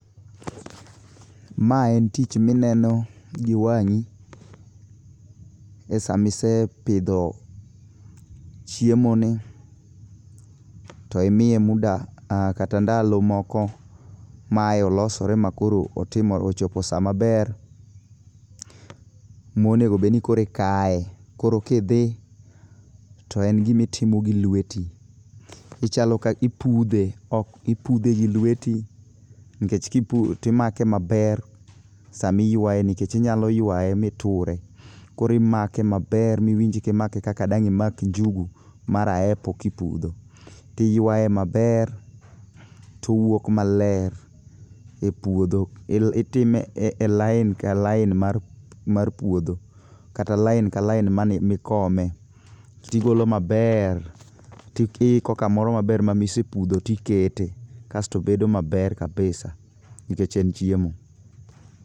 Ma en tich mineno gi wangí, e sama isepidho chiemoni, to imiye muda, kata ndalo moko mae olosore, ma koro otimo, ochopo sa maber monego bed ni koro ikaye. Koro kidhi, to en gima itimo gi lweti. Ichalo ka, ipudhe ok, ipudhe gi lweti, nikech, timake maber sama iywaye, nikech inyalo ywaye mi iture. Koro imake maber ma iwinj kimake kaka dang' imak njugu mar aepo kipudho. Ti ywaye maber, towuok maler e puodho. Itime e e line ka line mar mar puodho. Kata line ka line mane mikome. Tigolo maber, tiiko kamoro maber ma misepudho tikete. Kasto bedo maber kabisa nikech en chiemo.